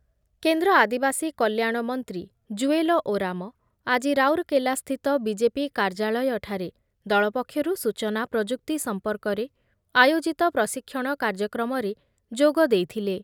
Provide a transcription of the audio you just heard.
କେନ୍ଦ୍ର ଆଦିବାସୀ କଲ୍ୟାଣ ମନ୍ତ୍ରୀ ଜୁଏଲ ଓରାମ ଆଜି ରାଉରକେଲାସ୍ଥିତ ବିଜେପି କାର୍ଯ୍ୟାଳୟଠାରେ ଦଳ ପକ୍ଷରୁ ସୂଚନା ପ୍ରଯୁକ୍ତି ସମ୍ପର୍କରେ ଆୟୋଜିତ ପ୍ରଶିକ୍ଷଣ କାର୍ଯ୍ୟକ୍ରମରେ ଯୋଗଦେଇଥିଲେ ।